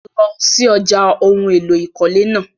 Lọ sí ọ̀já ohun èlò ìkọ́lé náà!